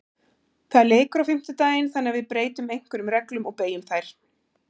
Það er leikur á fimmtudaginn þannig að við breytum einhverjum reglum og beygjum þær.